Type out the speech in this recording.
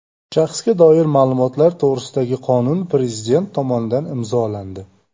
Shaxsga doir ma’lumotlar to‘g‘risidagi qonun Prezident tomonidan imzolandi.